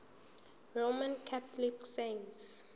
roman catholic saints